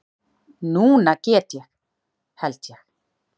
Núna get ég. held ég.